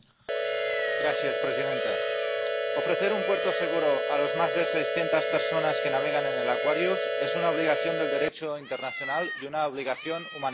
Señora presidenta, ofrecer un puerto seguro a las más de 600 personas que navegan en el Aquarius es una obligación del Derecho internacional y una obligación humanitaria.